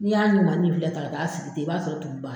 N'i y'a ɲumannin filɛ tan ka taa a sigi ten i b'a sɔrɔ tumu b'a la.